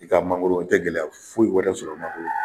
I ka mangoro i tɛ gɛlɛya foyi wɛrɛ sɔrɔ mangoro